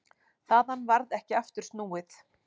Þaðan varð ekki aftur snúið.